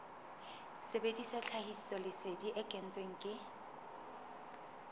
sebedisa tlhahisoleseding e kentsweng ke